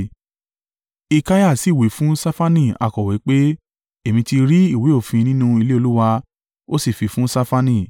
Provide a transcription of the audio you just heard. Hilkiah sì wí fún Ṣafani akọ̀wé pé, “Èmi ti rí ìwé òfin nínú ilé Olúwa.” Ó sì fi fún Ṣafani.